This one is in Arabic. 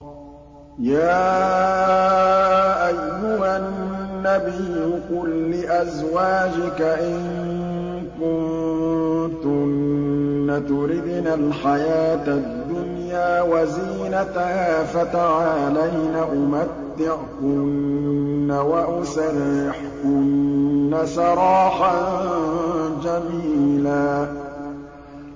يَا أَيُّهَا النَّبِيُّ قُل لِّأَزْوَاجِكَ إِن كُنتُنَّ تُرِدْنَ الْحَيَاةَ الدُّنْيَا وَزِينَتَهَا فَتَعَالَيْنَ أُمَتِّعْكُنَّ وَأُسَرِّحْكُنَّ سَرَاحًا جَمِيلًا